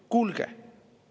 Kuulge!